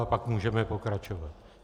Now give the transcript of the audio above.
A pak můžeme pokračovat.